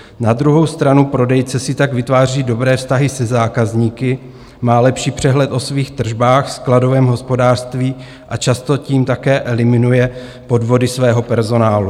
Na druhou stranu prodejce si tak vytváří dobré vztahy se zákazníky, má lepší přehled o svých tržbách, skladovém hospodářství a často tím také eliminuje podvody svého personálu.